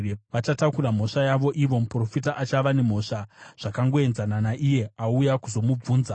Vachatakura mhosva yavo ivo, muprofita achava nemhosva zvakangoenzana naiye auya kuzomubvunza.